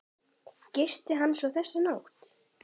Gisti hann svo þessa nótt?